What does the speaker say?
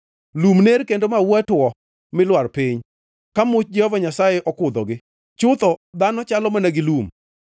Lum ner kendo maua tuo mi lwar piny ka much Jehova Nyasaye okudhogi. Chutho dhano chalo mana gi lum.